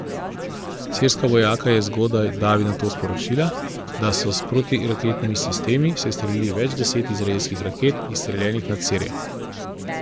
Sirska vojaka je zgodaj davi nato sporočila, da so s protiraketnimi sistemi sestrelili več deset izraelskih raket, izstreljenih na Sirijo.